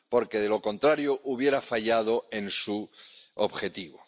porque, de lo contrario, hubiera fallado en su objetivo.